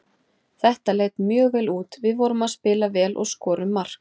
Þetta leit mjög vel út, við vorum að spila vel og skorum mark.